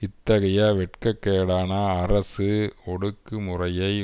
இத்தகைய வெட்கக் கேடான அரசு ஒடுக்கு முறையை